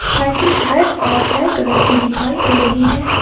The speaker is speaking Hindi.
साइकिल रेड और ब्लैक कलर की दिखाई दे रही है।